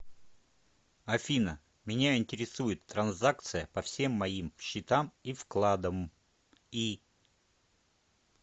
афина меня интересует транзакция по всем моим счетам и вкладом и